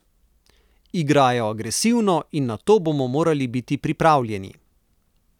Igrajo agresivno in na to bomo morali biti pripravljeni.